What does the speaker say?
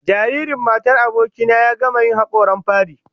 Jaririn matar aboki na ya gama yin hakoran fari